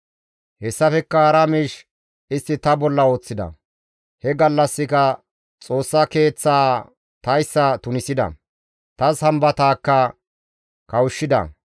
Hessafekka hara miish istti ta bolla ooththida; he gallassika Xoossa Keeththaa tayssa tunisida; ta Sambataakka kawushshida.